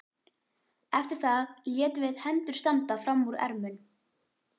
Eftir það létum við hendur standa fram úr ermum.